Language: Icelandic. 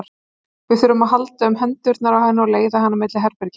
Við þurftum að halda um hendurnar á henni og leiða hana milli herbergja.